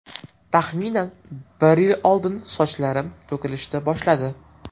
Taxminan bir yil oldin sochlarim to‘kilishdi boshladi.